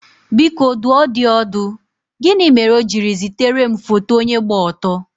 Biko dùọ dị ọdù, gịnị mere ọ̀ jiri zitere m foto onye gba ọtọ?